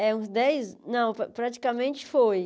É, uns dez, não, pra praticamente foi.